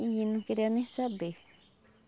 e não queria nem saber.